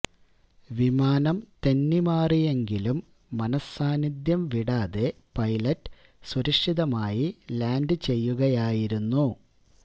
വിമാനം തെന്നി മാറിയെങ്കിലും മനഃസാന്നിധ്യം വിടാതെ പൈലറ്റ് സുരക്ഷിതമായി ലാൻഡ് ചെയ്യുകയായിരുന്നു